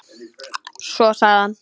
Svo sagði hann